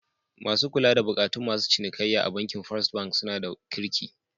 Masu kula da bukatun masu cinikayya a bankin first bank suna da kirki.